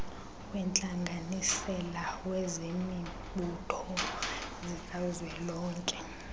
wentlanganisela zemibutho zikazwelonke